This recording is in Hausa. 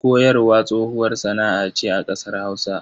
Koyarwa tsohuwar sana'a ce a ƙasar Hausa.